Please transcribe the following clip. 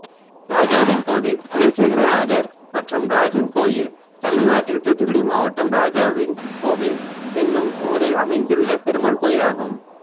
ராஜாவின்கோவில் குலசேகரநாதர் மற்றும் ராஜன் கோயில் தமிழ்நாட்டில் தூத்துக்குடி மாவட்டம் ராஜாவின்கோவில் என்னும் ஊரில் அமைந்துள்ள பெருமாள் கோயிலாகும்